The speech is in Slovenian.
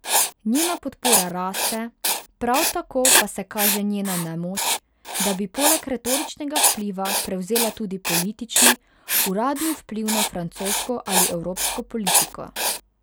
Njena podpora raste, prav tako pa se kaže njena nemoč, da bi poleg retoričnega vpliva prevzela tudi politični, uradni vpliv na francosko ali evropsko politiko.